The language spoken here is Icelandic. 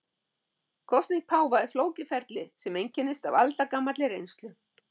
Kosning páfa er flókið ferli sem einkennist af aldagamalli reynslu.